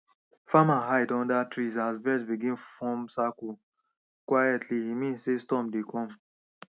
farmer hide under trees as bird begin form circle quietly e mean sey storm dey come